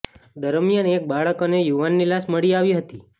દરમિયાન એક બાળક અને યુવાનની લાશ મળી આવી હતી